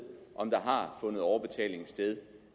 om der har fundet overbetaling